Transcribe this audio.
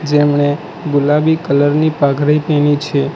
તેમણે ગુલાબી કલર ની પાઘડી પહેરી છે